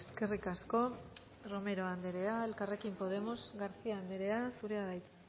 eskerrik asko romero anderea elkarrekin podemos garcía anderea zurea da hitza